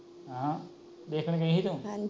ਵੇਖਣ ਗਯੀ ਸੀ ਤੂੰ